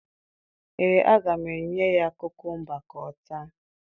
Ee, aga m enye ya kukumba ka ọ taa